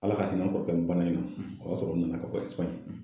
Ala ka hinɛ n kɔrɔkɛ bana in na ,o y'a sɔrɔ o nana ka bɔ ɛsipaɲi.